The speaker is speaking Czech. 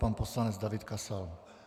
Pan poslanec David Kasal.